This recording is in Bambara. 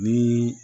Ni